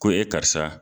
Ko e karisa